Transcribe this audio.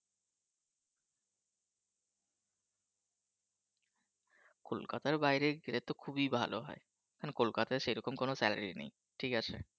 কলকাতার বাইরে গেলে তো খুবই ভালো হয় এখন কলকাতায় সেরকম কোন Salary নেই ঠিক আছে